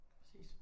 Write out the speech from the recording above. Præcis